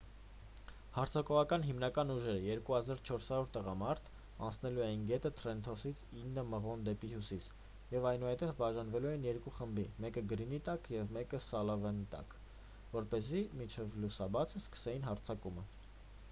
հարձակողական հիմնական ուժերը 2400 տղամարդ անցնելու էին գետը թրենթոնից ինը մղոն դեպի հյուսիս և այնուհետև բաժանվելու էին երկու խմբի մեկը գրինի տակ և մեկը սալիվանի տակ որպեսզի մինչև լուսաբացը սկսեին հարձակումը